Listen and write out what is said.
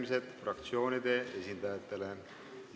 Avan fraktsioonide esindajate läbirääkimised.